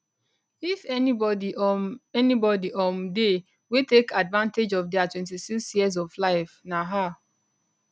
if anybody um anybody um dey wey take advantage of dia 26 years of life na her